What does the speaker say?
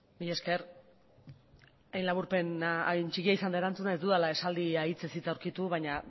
mila esker hain txikia izan da erantzuna ez dudala esaldia hitzez hitz aurkitu baina